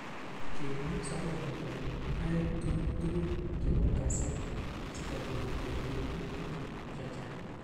Kimwa Sarova kole ae tuku tukul chebo. kasai sikobit kokirinda tukuk chechang.